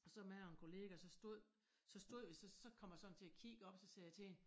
Og så mig og en kollega så stod så stod vi så kom jeg sådan til at kigge op så sagde jeg til hende